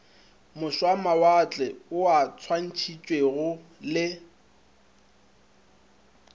mošwamawatle ao a swantšhitšwego le